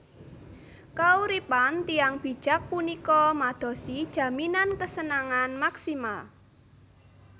Kauripan tiyang bijak punika madosi jaminan kesenangan maksimal